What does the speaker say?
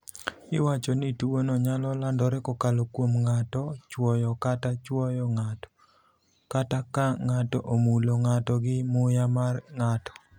Iwacho ni tuwono nyalo landore kokalo kuom ng'ato chwoyo kata chwowo ng'ato, kata ka ng'ato omulo ng'ato gi muya mar ng'ato.